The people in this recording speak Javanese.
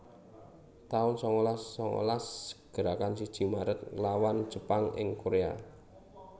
taun sangalas sangalas Gerakan siji Maret nglawan Jepang ing Korea